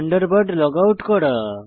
Thunderbird log out করা